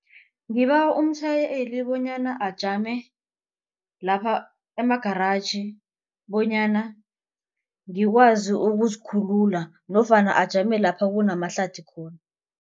Ngibawa umtjhayeli bonyana ajame lapha emagaraji bonyana ngikwazi ukuzikhulula nofana ajame lapha kunamahlathi khona.